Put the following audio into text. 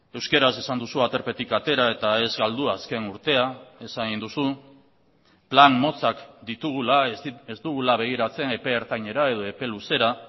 euskaraz esan duzu aterpetik atera eta ez galdu azken urtea esan egin duzu plan motzak ditugula ez dugula begiratzen epe ertainera edo epe luzera